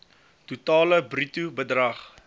totale bruto bedrag